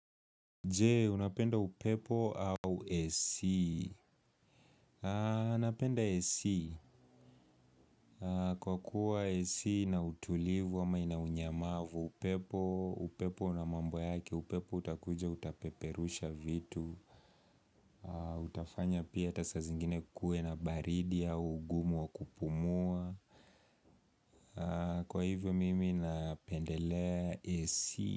Je, unapenda upepo au AC? Napenda AC. Kwa kuwa AC ina utulivu ama ina unyamavu, upepo, upepo na mambo yake, upepo utakuja utapeperusha vitu. Utafanya pia hata saa zingine kuwe na baridi au ugumu wa kupumua. Kwa hivyo mimi napendelea AC.